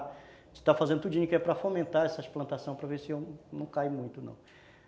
A gente está fazendo tudo o que a gente quer para fomentar essas plantações, para ver se não cai muito, não.